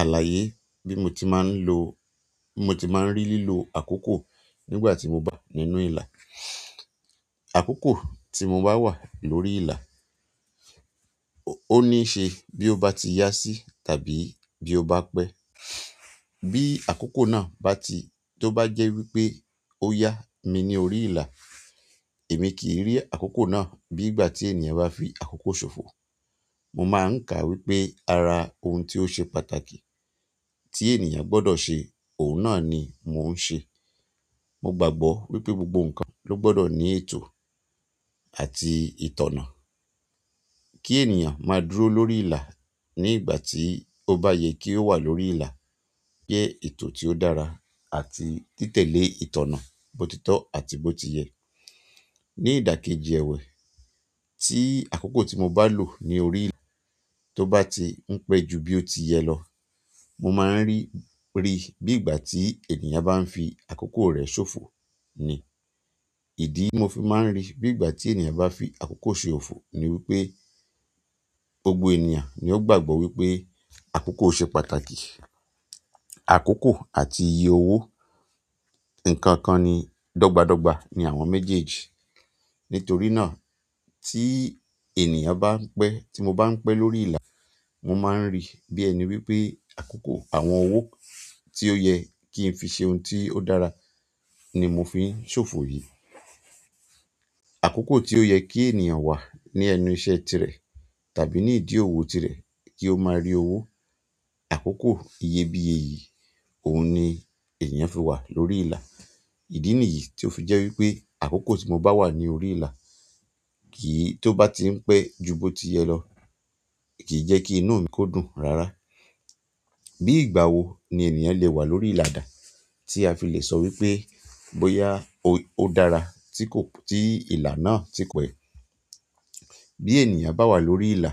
Àlàyé bí mo ti máa ń lo, bimo ti máa ń rí lílo àkókò nígbà tí mo bá nínú ìlà. Àkókò tí mo bá wà lórí ìlà ó ní ṣe bí ó bá ti yá sí tàbí bí ó bá pẹ́. Bí àkókò náà bá ti, tó bá jẹ́ wípé ó yá mi ní orí ìlà, èmi kì í rí àkókò náà bí ìgbà tí ènìyàn bá fi àkókò ṣòfò. Mo máa ń kà wípé ara ohun tí ó ṣe pàtàkì tí ènìyàn gbọ́dọ̀ ṣe, òun náà ni mò ń ṣe. Mo gbàgbọ́ wípé gbogbo ǹkan ló gbọ́dọ̀ ní ètò àti ìtànná. Kí ènìyàn máa dúró lórí ìlà ní ìgbà tí ó bá yẹ kí ó wà lórí ìlà jẹ́ ètò tí ó dára àti títẹ̀lé ìtànná bótítọ́ àti bó ti yẹ. Ni ìdàkejì ẹ̀wẹ̀, tí àkókò tí mo bá lò ní orí ìlà tó bá ti ń pẹ́ ju bí ó ti yẹ lọ, mo máa ń rí i bí ìgbà tí ènìyàn bá ń fi àkókò rẹ̀ ṣòfò ni. Ìdí mo fi máa ń rí i bí ìgbà tí ènìyàn bá fi àkókò ṣe òfò ni wípé gbogbo ènìyàn ni ó gbàgbọ́ wípé àkókò ṣe pàtàkì. Àkókò àti iye owó nǹkan kan ni dọ́gba dọ́gba ni àwọn méjèèjì. Nítorí náà tí ènìyàn bá ń pẹ́, tí mo bá ń pẹ́ lórí ìlà, mo máa ń rí i bí ẹni wípé àkókò àwọn owó tí ó yẹ kí n fi ṣe ohun tí ó dára ni mo fi ń ṣòfò yìí. Àkókò tí ó yẹ kí ènìyàn wà ní ẹnu iṣẹ́ tirẹ̀ tàbí ní ìdí òwò tirẹ̀ kí ó máa rí owó, àkókò iyebíye yìí, òun ni èèyàn fi wà lórí ìlà. Ìdí nìyí tí ó fi jẹ́ wípé àkókò tí mo bá wà ní orí ìlà kì í, tó bá ti ń pẹ́ ju bó ti yẹ lọ, kì í jẹ́ kí inú mi kó dùn rárá. Bí ìgbà wo ni ènìyàn le wà lórí ìlà dá tí a fi le sọ wípé bóyá ó dára tí kò, tí ìlà náà tí pẹ́. Bí ènìyàn bá wà lórí ìlà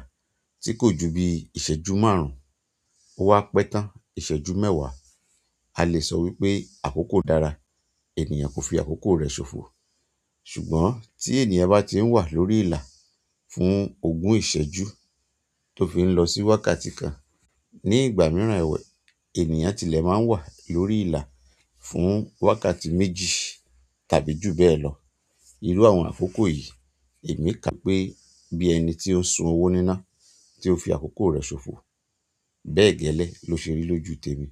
tí kò ju bí ìṣẹ́jú márùn-ún, ó wá pẹ́ tán ìṣẹ́jú mẹ́wàá, a lè sọ wípé àkókò dára, ènìyàn kò fi àkókò rẹ̀ ṣòfò. Ṣùgbọ́n tí ènìyàn bá ti ń wà lórí ìlà fún ogún ìṣẹ́jú tó fi ń lọ sí wákàtí kan, ní ìgbà mìíràn ẹ̀wẹ̀, ènìyàn tilẹ̀ máa ń wà lórí ìlà fún wákàtí méjì tàbí jù bẹ́ẹ̀ lọ. Irú àwọn àkókò yìí èmi kà pé bí ẹni tí ó ń sun owó níná tí ó fi àkókò rẹ̀ ṣòfò. Bẹ́ẹ̀ gẹ́lẹ́ ló ṣe rí lójú tèmi.